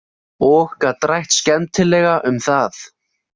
Og gat rætt skemmtilega um það.